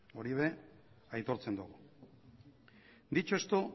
hori ere aitortzen dugu dicho esto